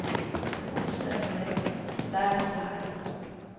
Huset er forladt, så det er forklaringen.